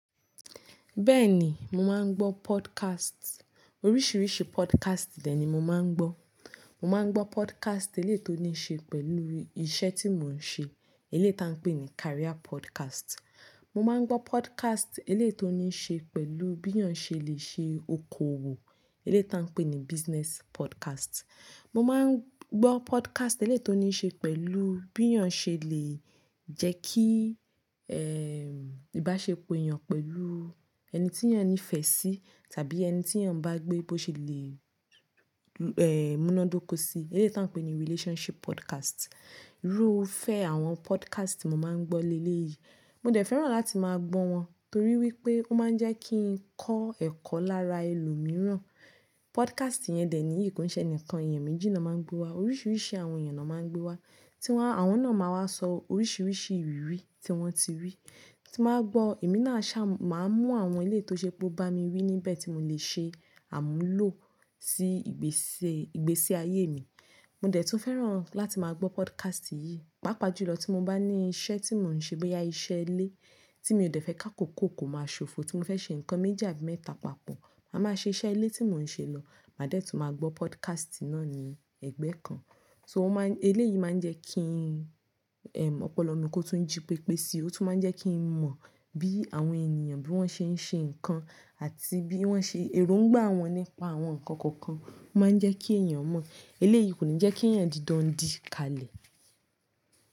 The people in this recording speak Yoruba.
Bẹ́ẹ̀ni, mo máa ń gbọ́ podcast. Oríṣiríṣi podcast dẹ̀ ni mo máa ń gbọ́. Mo máa ń gbọ́ podcast eléyi to ní ṣe pẹ̀lú iṣẹ́ tí mò ń ṣe, eléyìí tí wọ́n ń pè ní career podcast. Mo máa ń gbọ́ podcast eléyi to ní ṣe pẹ̀lú bí ènìyàn ṣe lè ṣe okòwò, eléyìí tí wọ́n ń pè ní business podcast. Mo máa ń gbọ́ podcast eléto ní ṣe pẹ̀lú bí ènìyàn ṣe lè jẹ́ kí, ẹm, ìbáṣepọ̀ ènìyàn pẹ̀lú ẹni tí ènìyàn nífẹ̀ẹ́ sí tàbí ẹni tí ènìyàn n bá gbé bó ṣe lè, ẹ́, múná dóko sí, eléyà tí a n pè ní relationship podcast. Irúfẹ́ àwọn podcast ti mo máa ń gbọ́ lé lé yìí, mo dẹ̀ fẹ́ràn láti máa gbọ́ wọn torí wípé ó máa ń jẹ́ kí n kọ́ ẹ̀kọ́ lára ẹlòmíràn. Podcast yẹn dẹ̀ ni yi ko kin ṣe ẹnìkan èèyàn méjì na máa ń gbówá, oríṣiríṣi àwọn èèyàn na máa ń gbówá, tí wọ́n, àwọn náà máa wá sọ oríṣiríṣi ìrírí tí wọ́n ti rí. Tí màá gbọ́, èmi náà ṣa, màá mún àwọn eléyii to ṣé pó bá mi wí níbẹ̀ tí mò lè ṣe àmúlò sí ìgbésẹ, ìgbésí ayé mi. Mo dẹ̀ tún fẹ́ràn láti máa gbọ́ podcast yìí, pàápàá jù lọ tí mo bá ní iṣẹ́ tí mò ń ṣe bóyá iṣẹ́ ilé tí mi ò dẹ̀ fẹ́ k'ákòkó kó máa ṣofo, tí mo fẹ́ ṣe nǹkan méjì àbí mẹ́ta papọ̀, màá ma ṣe iṣẹ́ ilé tí mò ń ṣe lọ, màá dẹ̀ tún máa gbọ́ podcast náà ní ẹgbẹ́ kan. So wọ́n máa ń, eléyìí máa ń jẹ́ kí ọpọlọ mi kó tún jí pépé síi, ó tún máa ń jẹ́ kí n mọ̀ bí àwọn ènìyàn bí wọ́n ṣe ń ṣe nǹkan àti bí wọ́n ṣe erongbá wọn nípa àwọn nǹkan kọ̀ọ̀kan, ó máa ń jẹ́ kí èèyàn mọ̀. Eléyìí kò ní jẹ́ kí èèyàn di dọndikalẹ̀.